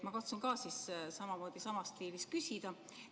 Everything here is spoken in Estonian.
Ma katsun ka siis samas stiilis küsida.